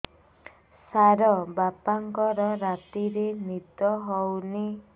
ସାର ବାପାଙ୍କର ରାତିରେ ନିଦ ହଉନି